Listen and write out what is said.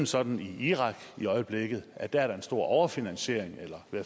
sådan i irak i øjeblikket at der er en stor overfinansiering eller man